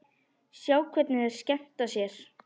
Sjá hvernig þeir skemmta sér.